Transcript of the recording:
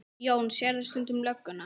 Jón: Sérðu stundum lögguna?